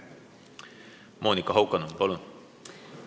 Monika Haukanõmm, palun!